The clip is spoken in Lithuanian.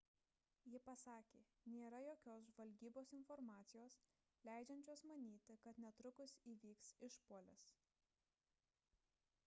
ji pasakė nėra jokios žvalgybos informacijos leidžiančios manyti kad netrukus įvyks išpuolis